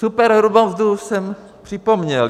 Superhrubou mzdu jsem připomněl.